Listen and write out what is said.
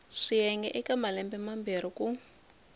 swiyenge eka malembe mambirhi ku